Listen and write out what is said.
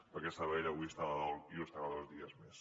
perquè sabadell avui està de dol i ho estarà dos dies més